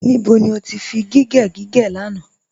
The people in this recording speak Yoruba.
Níbó ni o tì fí gígẹ̀ gígẹ̀ lánà?